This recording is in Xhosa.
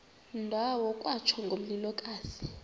ndawo kwatsho ngomlilokazi